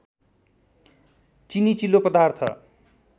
चिनी चिल्लो पदार्थ